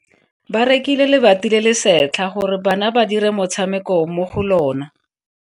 Ba rekile lebati le le setlha gore bana ba dire motshameko mo go lona.